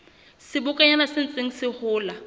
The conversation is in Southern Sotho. sebokonyana se ntseng se hola